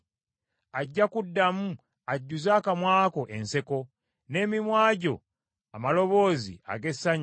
Ajja kuddamu ajjuze akamwa ko enseko, n’emimwa gyo amaloboozi ag’essanyu.